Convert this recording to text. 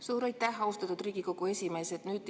Suur aitäh, austatud Riigikogu esimees!